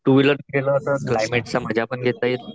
To wheeler वर गेलो तर कलयमेट चा मजापण घेता येईल.